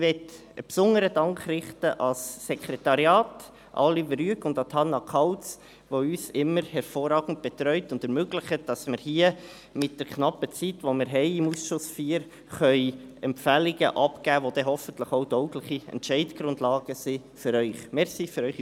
Ich möchte einen besonderen Dank ans Sekretariat richten, an Oliver Rüegg und Hannah Kauz, die uns immer hervorragend betreut haben und es uns ermöglichen, dass wir mit der knappen Zeit, die wir im Ausschuss IV zur Verfügung haben, hier Empfehlungen abgeben können, die dann hoffentlich auch taugliche Entscheidungsgrundlagen für Sie sind.